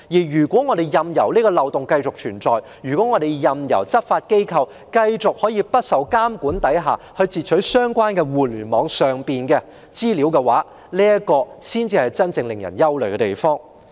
如果我們任由漏洞繼續存在，任由執法機構繼續在不受監管下截取相關互聯網通訊，這才是真正叫人憂慮的問題。